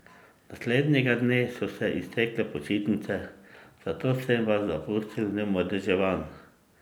Naslednjega dne so se iztekle počitnice, zato sem vas zapustil neomadeževan.